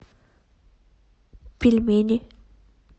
пельмени